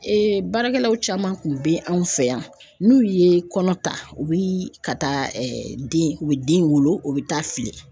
baarakɛlaw caman kun be anw fɛ yan n'u ye kɔnɔ ta u bi ka taa den u bɛ den wolo u bi taa fili